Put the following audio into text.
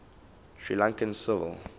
sri lankan civil